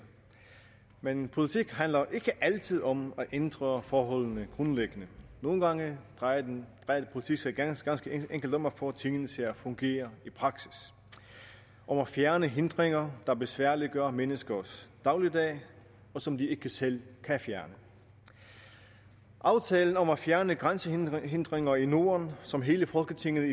men politik handler ikke altid om at ændre forholdene grundlæggende nogle gange drejer politik sig ganske enkelt om at få tingene til at fungere i praksis om at fjerne hindringer der besværliggør menneskers dagligdag som de ikke selv kan fjerne aftalen om at fjerne grænsehindringer i norden som hele folketinget